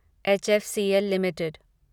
HFCL limited